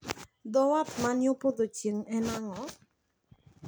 Dho wath man yo podho chieng` en ang`o?